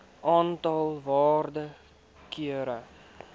aantal waarde kere